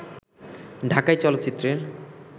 ঢাকাই চলচ্চিত্রের